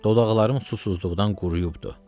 Dodaqlarım susuzluqdan quruyubdur.